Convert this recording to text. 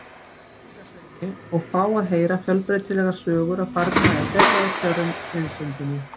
Litla-Hrauni og fá að heyra fjölbreytilegar sögur af farnaði þeirra og kjörum í prísundinni.